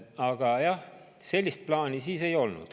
Aga jah, sellist plaani siis ei olnud.